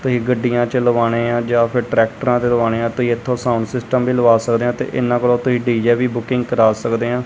ਤੁਸੀਂ ਗੱਡੀਆਂ ਚਲਵਾਣੇਆ ਜਾਂ ਫੇਰ ਟ੍ਰੈਕਟਰਾਂ ਦਿਲਵਾਣੇ ਹਾਂ ਤੁਸੀਂ ਇੱਥੋਂ ਸਾਊਂਡ ਸਿਸਟਮ ਵੀ ਲਵਾ ਸਕਦੇਹਾਂ ਤੇ ਇਹਨਾਂ ਕੋਲੋਂ ਤੁਸੀਂ ਡੀ_ਜੇ ਵੀ ਬੂਕਿੰਗ ਕਰਾਂ ਸਕਦੇ ਹਾਂ।